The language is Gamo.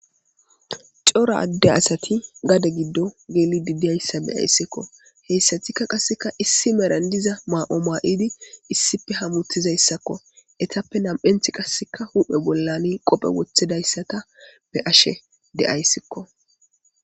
Cora adde asati gade giddo geeli didyayssa beyayssikko heyssatikka qasseka issi meran diza maa7o maa7idi issipe hamuttizayssakko etappe nam7enth qasseka huphe bollani qophe wothidayssata be ashe de7ayssikko